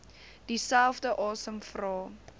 dieselfde asem vra